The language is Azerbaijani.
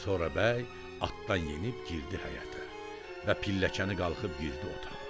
Sonra bəy atdan enib girdi həyətə və pilləkəni qalxıb girdi otağa.